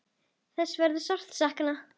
Þess verður sárt saknað.